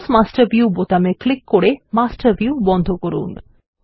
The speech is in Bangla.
ক্লোজ মাস্টার ভিউ বোতামে ক্লিক করে মাস্টার ভিউ বন্ধ করুন